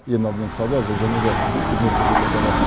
ең алдымен сауда және де қызмет көрсету саласы